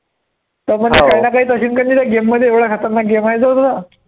हा त्यामध्ये